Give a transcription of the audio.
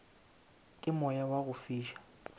ke moya wa go fiša